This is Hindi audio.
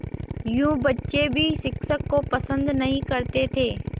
यूँ बच्चे भी शिक्षक को पसंद नहीं करते थे